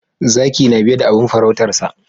Zaki na biye da abin faruutarsa